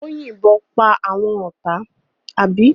Ó yìnbọn pa àwọn ọ̀tá, àbí?